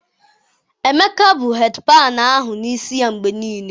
Emeka bu hedịpanụ ahụ n' isi ya mgbe niile